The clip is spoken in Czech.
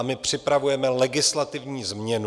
A my připravujeme legislativní změnu.